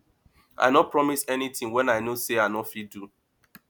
i no promise anytin wey i know sey i no fit do